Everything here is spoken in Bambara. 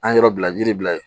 An ye yɔrɔ bila yiri la yen